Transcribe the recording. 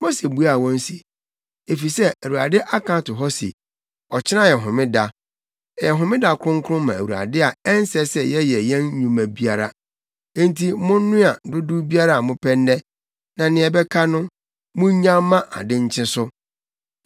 Mose buaa wɔn se, “Efisɛ Awurade aka ato hɔ se, ‘Ɔkyena yɛ homeda. Ɛyɛ homeda kronkron ma Awurade a ɛnsɛ sɛ yɛyɛ yɛn nnwuma biara. Enti monnoa dodow biara a mopɛ nnɛ, na nea ɛbɛka no, munnyaw mma ade nkye so.’ ”